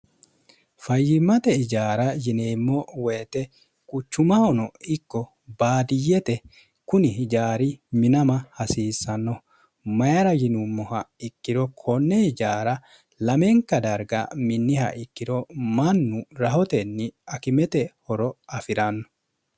fayyimmate ijaara yineemmo woyite quchumahono ikko baadiyyete kuni hijaari minama hasiissanno mayira yinummoha ikkiro konne ijaara lamenka darga minniha ikkiro mannu rahotenni akimete horo afi'ranno